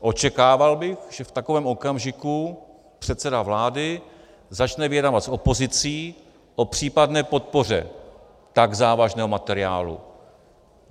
Očekával bych, že v takovém okamžiku předseda vlády začne vyjednávat s opozicí o případné podpoře tak závažného materiálu.